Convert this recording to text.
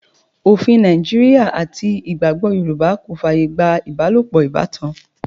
Òfin Nàìjíríà àti ìgbàgbọ́ Yorùbá kò fàyè gba ibalopo ìbátan.